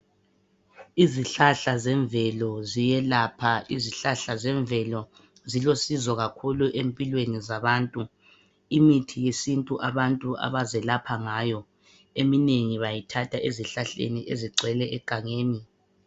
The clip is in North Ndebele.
Izihlahla zemvelo ziyelapha. Izihlahla zemvelo zilosizo kakhulu empilweni zabantu. Imithi yesintu abantu abazelapha ngayo eminengi bayithatha ezihlahleni ezigcwele egangeni.